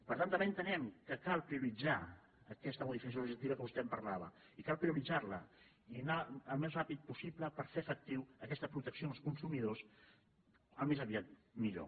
per tant també entenem que cal prioritzar aquesta mo·dificació legislativa que vostè em parlava i cal prio·ritzar·la i anar el més ràpid possible per fer efectiva aquesta protecció als consumidors com més aviat millor